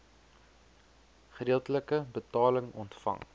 gedeeltelike betaling ontvang